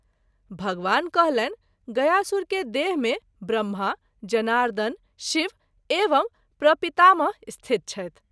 भगवान कहलनि गयासुर के देह मे ब्रम्हा, जनार्दन, शिव एवं प्रपितामह स्थित छथि।